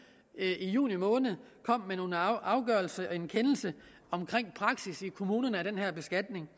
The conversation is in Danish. i juni måned kom med en afgørelse og en kendelse omkring praksis i kommunerne af den her beskatning